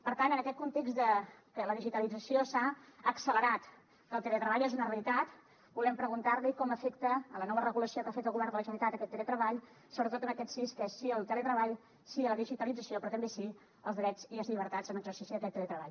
per tant en aquest context que la digitalització s’ha accelerat que el teletreball és una realitat volem preguntar li com afecta a la nova regulació que ha fet el govern de la generalitat aquest teletreball sobretot en aquests sís que són sí al teletreball sí a la digitalització però també sí als drets i les llibertats en l’exercici d’aquest teletreball